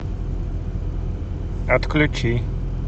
отключи